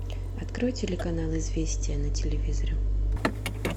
открой телеканал известия на телевизоре